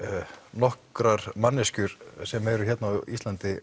nokkrar manneskjur sem eru hér á Íslandi